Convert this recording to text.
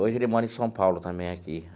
Hoje ele mora em São Paulo também, aqui.